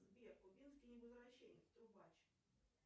сбер кубинский невозвращенец трубач